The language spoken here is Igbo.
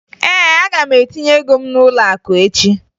Ee, aga m etinye ago m n'ụlọakụ echi